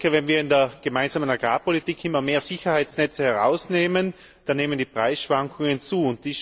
Wenn wir in der Gemeinsamen Agrarpolitik immer mehr Sicherheitsnetze herausnehmen, dann nehmen die Preisschwankungen zu.